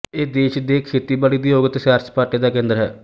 ਇਹ ਦੇਸ਼ ਦੇ ਖੇਤੀਬਾੜੀ ਉਦਯੋਗ ਅਤੇ ਸੈਰਸਪਾਟੇ ਦਾ ਕੇਂਦਰ ਹੈ